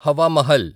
Hawa Mahal